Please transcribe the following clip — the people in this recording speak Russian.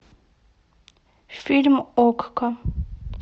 фильм окко